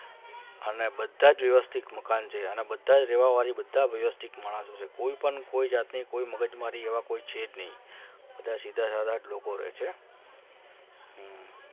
અને બધા જ વ્યવસ્થિત મકાન છે અને બધા જ રહેવાવાળી બધા જ વ્યવસ્થિત માણસો છે કોઈ પણ કોઈ જાતની કોઈ મગજમારી એવા કોઈ છે જ નહીં બધા સીધા સાદા જ લોકો રહે છે.